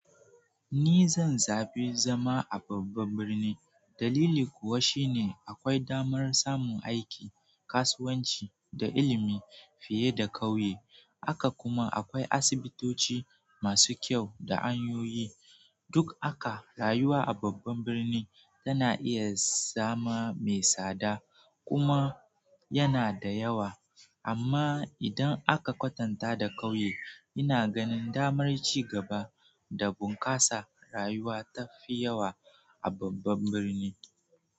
Ni zan zaɓi zama a babban birni, dalili kuwa shine akwai damar samun aiki, kasuwanci da ilimi fiye da ƙauye. Haka kuma, akwai asibitoci masu kyau da hanyoyi, duk haka rayuwa a babban birni tana iya zama mai tsada kuma yana da yawa, amma idan aka kwatanta da ƙauye, ina ganin damar cigaba da bunƙasa rayuwa tafi yawa a babban birni.